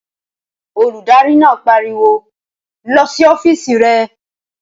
Olùdarí náà pariwo lọ sí ọ́fìsì re!